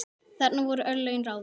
Þarna voru örlögin ráðin.